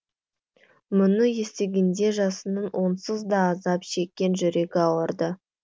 мұны естігенде жасынның онсыз да азап шеккен жүрегі ауырды